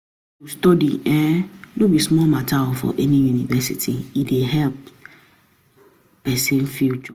`Pesin wey wan read Law for university dey do am for five years.